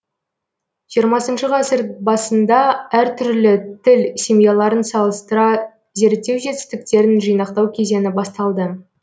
жиырмасыншы ғасыр басында әр түрлі тіл семьяларын салыстыра зерттеу жетістіктерін жинақтау кезеңі басталды